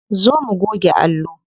Zo mu goge allo.